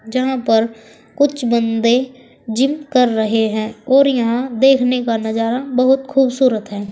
जहां पर कुछ बंदे जिम कर रहे हैं और यहां देखने का नजरा बहुत खूबसूरत है।